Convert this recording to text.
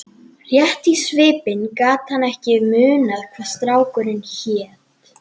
Rétt í svipinn gat hann ekki munað hvað strákurinn hét.